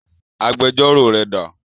Agbẹjọ́rò rẹ dà?